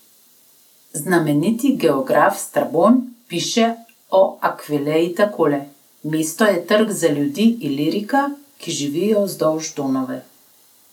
Znameniti geograf Strabon piše o Akvileji takole: "Mesto je trg za ljudi Ilirika, ki živijo vzdolž Donave.